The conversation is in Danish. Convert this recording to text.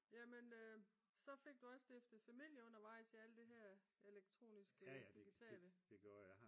Jamen så fik du også stiftet familie undervejs i alt der her elektroniske digitale